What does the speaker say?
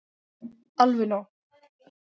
Alveg nóg.